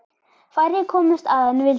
Færri komust að en vildu.